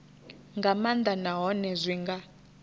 nga maanḓa nahone zwi nga